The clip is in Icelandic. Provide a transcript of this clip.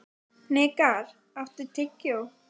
Hnikar, áttu tyggjó?